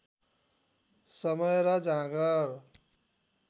समय र जाँगर